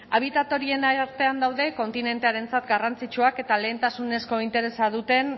habitat horien artean daude kontinentearentzat garrantzitsuak eta lehentasunezko interesa duten